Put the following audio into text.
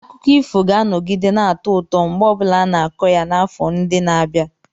Akụkọ ifo ga-anọgide na-atọ ụtọ mgbe ọ bụla a na-akọ ya n'afọ ndị na-abịa.